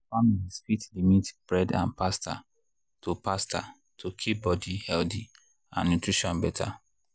families fit limit bread and pasta to pasta to keep body healthy and nutrition better.